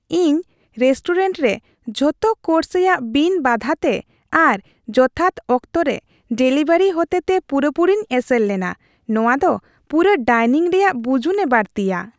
ᱤᱧ ᱨᱮᱥᱴᱩᱨᱮᱱᱴ ᱨᱮ ᱡᱷᱚᱛᱚ ᱠᱳᱨᱥ ᱨᱮᱭᱟᱜ ᱵᱤᱱ ᱵᱟᱫᱷᱟᱛᱮ ᱟᱨ ᱡᱚᱛᱷᱟᱛ ᱚᱠᱛᱚ ᱨᱮ ᱰᱮᱞᱤᱵᱷᱟᱨᱤ ᱦᱚᱛᱮᱛᱮ ᱯᱩᱨᱟᱹᱯᱩᱨᱤᱧ ᱮᱥᱮᱨ ᱞᱮᱱᱟ; ᱱᱚᱶᱟ ᱫᱚ ᱯᱩᱨᱟᱹ ᱰᱟᱭᱱᱤᱝ ᱨᱮᱭᱟᱜ ᱵᱩᱡᱩᱱᱮ ᱵᱟᱹᱲᱛᱤᱭᱟ ᱾